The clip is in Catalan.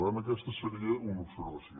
per tant aquesta seria una observació